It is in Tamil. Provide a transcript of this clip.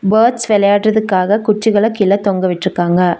பேர்ட்ஸ் வெளையாட்றதுக்காக குச்சிகள கீழ தொங்க விட்டிருக்காங்க.